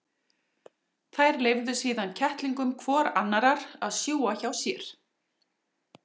Þær leyfðu síðan kettlingum hvor annarrar að sjúga hjá sér.